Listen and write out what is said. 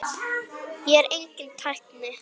Ég er enginn tækni